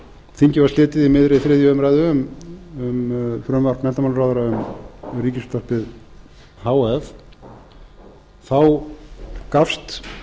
þingi var slitið í miðri þriðju umræðu um frumvarp menntamálaráðherra um ríkisútvarpið h f gafst